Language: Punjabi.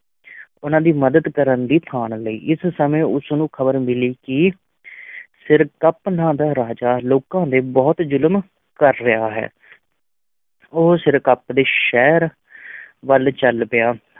ਉਹਨਾਂ ਦੀ ਮਦਦ ਕਰਨ ਦੀ ਠਾਣ ਲਈ, ਇਸ ਸਮੇਂ ਉਸ ਨੂੰ ਖ਼ਬਰ ਮਿਲੀ ਕਿ ਸਿਰਕੱਪ ਨਾਂ ਦਾ ਰਾਜਾ ਲੋਕਾਂ ਤੇ ਬਹੁਤ ਜ਼ੁਲਮ ਕਰ ਰਿਹਾ ਹੈ ਉਹ ਸਿਰਕੱਪ ਦੇ ਸ਼ਹਿਰ ਵੱਲ ਚੱਲ ਪਿਆ।